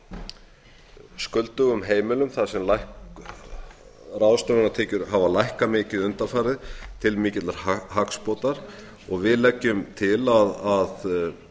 séu skuldugum heimilum þar sem ráðstöfunartekjur hafa lækkað mikið undanfarið til mikilla hagsbóta og við leggjum til